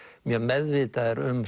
mjög meðvitaðir um